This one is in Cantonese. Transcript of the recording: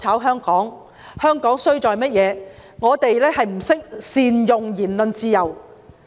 香港之所以衰落，是因為我們不懂得善用言論自由。